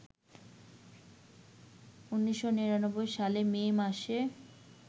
১৯৯৯ সালের মে মাসে